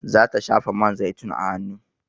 Za ta shafa man zaitun a hanu